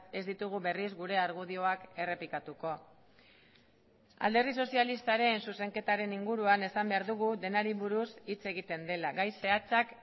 ez ditugu berriz gure argudioak errepikatuko alderdi sozialistaren zuzenketaren inguruan esan behar dugu denari buruz hitz egiten dela gai zehatzak